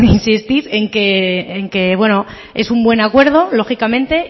insistir en que es un buen acuerdo lógicamente